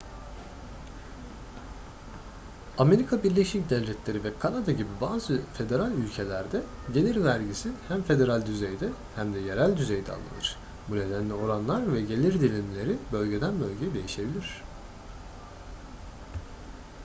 amerika birleşik devletleri ve kanada gibi bazı federal ülkelerde gelir vergisi hem federal düzeyde hem de yerel düzeyde alınır bu nedenle oranlar ve gelir dilimleri bölgeden bölgeye değişebilir